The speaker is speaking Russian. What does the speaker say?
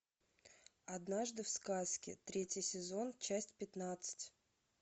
однажды в сказке третий сезон часть пятнадцать